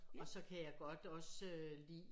Og så kan jeg godt også lide